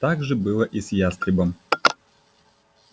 так же было и с ястребом